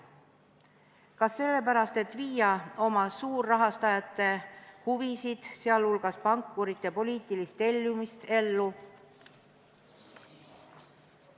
Kas sellepärast, et viia oma suurrahastajate huvisid, sealhulgas pankurite poliitilist tellimust, ellu?